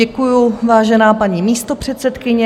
Děkuju, vážená paní místopředsedkyně.